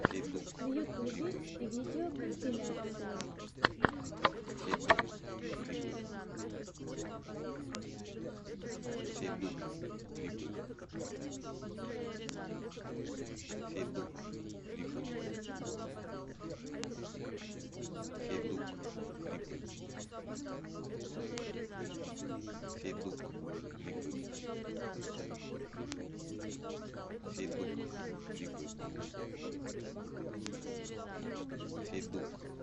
в ютубе видеокомпиляции